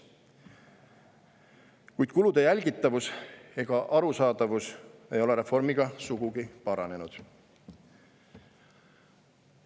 Kuid kulude jälgitavus ega arusaadavus ei ole reformiga sugugi paranenud.